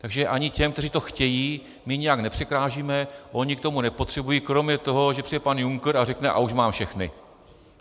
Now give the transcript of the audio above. Takže ani těm, kteří to chtějí, my nijak nepřekážíme, oni k tomu nepotřebují - kromě toho, že přijde pan Juncker a řekne: a už mám všechny.